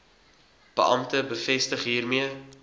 beampte bevestig hiermee